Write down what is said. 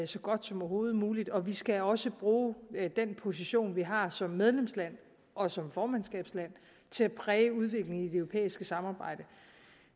så godt som overhovedet muligt og vi skal også bruge den position vi har som medlemsland og som formandskabsland til at præge udviklingen i det europæiske samarbejde